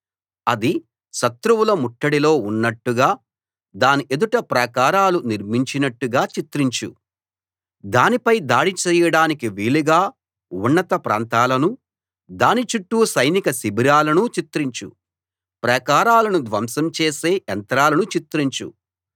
అది శత్రువుల ముట్టడిలో ఉన్నట్టుగా దాని ఎదుట ప్రాకారాలు నిర్మించినట్టుగా చిత్రించు దానిపై దాడి చేయడానికి వీలుగా ఉన్నత ప్రాంతాలనూ దాని చుట్టూ సైనిక శిబిరాలనూ చిత్రించు ప్రాకారాలను ధ్వంసం చేసే యంత్రాలను చిత్రించు